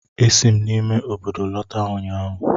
Esi m n'ime obodo lọta ụnyaahụ